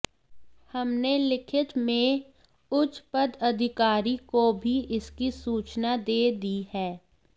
हमने लिखित में उच्च पदाधिकारी को भी इसकी सूचना दे दी है